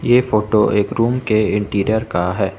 ये फोटो एक रूम के इंटीरियर का है।